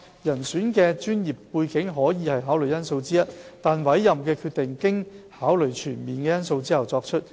人選的專業背景可以是考慮因素之一，但委任的決定經考慮全面的因素後作出。